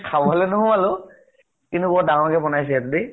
খাবলৈ নোসোমালো । কিন্তু বৰ দাঙ্গৰ কে বনাইছে দেই ।